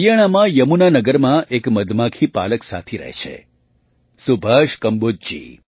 હરિયાણામાં યમુનાનગરમાં એક મધમાખીપાલક સાથી રહે છે સુભાષ કંબોજજી